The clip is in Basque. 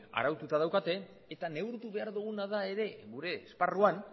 araututa daukate eta neurtu behar duguna da ere gure esparruan